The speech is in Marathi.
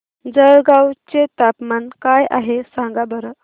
जळगाव चे तापमान काय आहे सांगा बरं